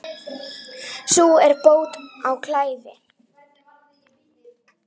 Sú er bót á klæði.